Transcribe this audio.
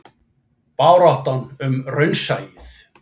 Baráttan um raunsæið.